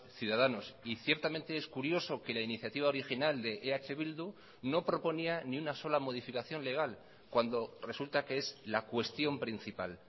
ciudadanos y ciertamente es curioso que la iniciativa original de eh bildu no proponía ni una sola modificación legal cuando resulta que es la cuestión principal